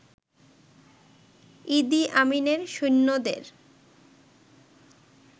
ইদি আমিনের সৈন্যদের